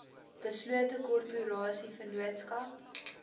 beslote korporasie vennootskap